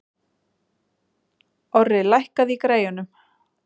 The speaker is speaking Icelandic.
Orri, lækkaðu í græjunum.